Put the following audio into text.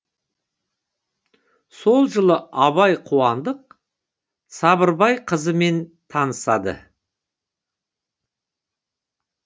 сол жылы абай қуандық сабырбай қызымен танысады